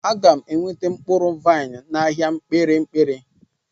Aga m enweta mkpụrụ vaịn n'ahịa kpirikpiri.